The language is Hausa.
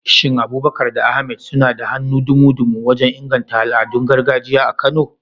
Shin Abubakar da Ahmad suna da hannu dumu-dumu wajen inganta al'adun gargajiya a Kano?